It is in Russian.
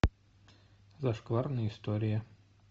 зашкварные истории